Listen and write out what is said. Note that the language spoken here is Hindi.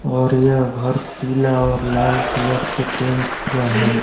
और यह घर पीला और लाल कलर से पेंट हुआ है।